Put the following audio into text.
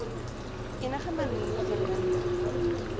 enige manier verminder